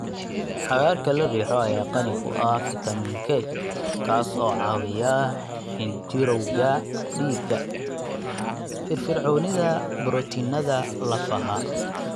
Cagaarka la riixo ayaa qani ku ah fitamiin K kaas oo caawiya xinjirowga dhiigga, firfircoonida borotiinnada lafaha,